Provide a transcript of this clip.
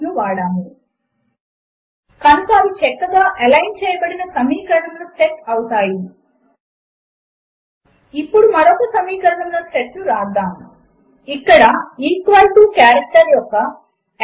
సంగ్రహముగా చెప్పాలి అంటే మనము ఈ క్రింది అంశములను నేర్చుకున్నాము ఒక మాత్రికను వ్రాయడము మరియు ఒక ప్రత్యేకమైన కారెక్టర్ మీద ఆధారపడి సమీకరణములను ఎలైన్ చేయడము ఈ spoken tutorial talk to a teacher project లో భాగము దీనికి ఐసీటీ ఎంహార్డీ భారత ప్రభుత్వముద్వారా నేషనల్ మిషన్ ఆన్ ఎడ్యుకేషన్ సహాయం అందిస్తోంది httpspoken tutorialorg